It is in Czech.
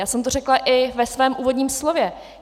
Já jsem to řekla i ve svém úvodním slově.